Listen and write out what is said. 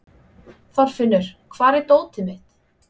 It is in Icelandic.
Þorfinnur, hvar er dótið mitt?